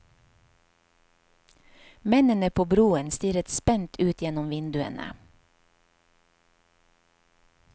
Mennene på broen stirret spent ut gjennom vinduene.